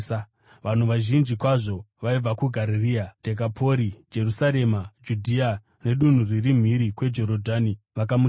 Vanhu vazhinji kwazvo vaibva kuGarirea, Dhekapori, Jerusarema, Judhea nedunhu riri mhiri kweJorodhani vakamutevera.